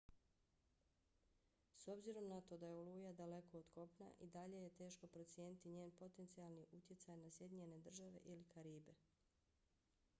s obzirom na to da je oluja daleko od kopna i dalje je teško procijeniti njen potencijalni utjecaj na sjedinjene države ili karibe